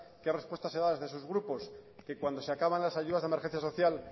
qué respuesta se da desde esos grupos que cuando se acaban las ayudas de emergencia social